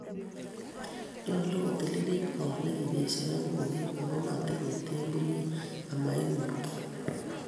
nyolu kotiliilit koot ne ki beesyoen kumik, ago ma tinyei temburyek, ama ing'utoi.